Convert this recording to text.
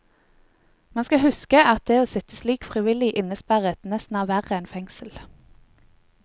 Man skal huske at det å sitte slik frivillig innesperret nesten er verre enn fengsel.